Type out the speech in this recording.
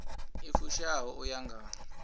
i fushaho u ya nga